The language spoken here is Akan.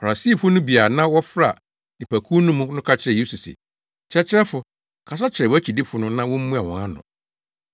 Farisifo no bi a na wɔfra nnipakuw no mu no ka kyerɛɛ Yesu se, “Kyerɛkyerɛfo, kasa kyerɛ wʼakyidifo no na wommua wɔn ano!”